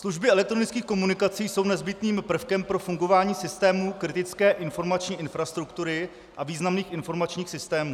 Služby elektronických komunikací jsou nezbytným prvkem pro fungování systému kritické informační infrastruktury a významných informačních systémů.